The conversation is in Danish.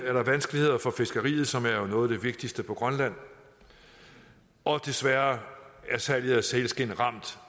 er der vanskeligheder for fiskeriet som jo er noget af det vigtigste på grønland og desværre er salget af sælskind ramt